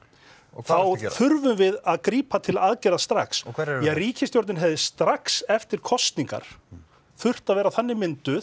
þá þurfum við að grípa til aðgerða strax ríkisstjórnin hefði strax eftir kosningar þurft að vera þannig mynduð